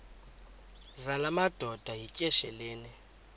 zala madoda yityesheleni